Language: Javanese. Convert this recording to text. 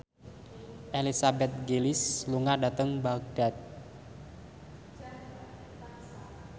Elizabeth Gillies lunga dhateng Baghdad